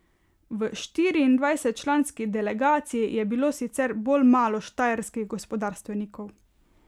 V štiriindvajsetčlanski delegaciji je bilo sicer bolj malo štajerskih gospodarstvenikov.